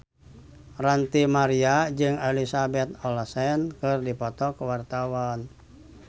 Ranty Maria jeung Elizabeth Olsen keur dipoto ku wartawan